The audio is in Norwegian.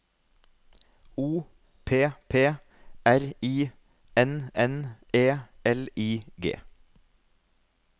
O P P R I N N E L I G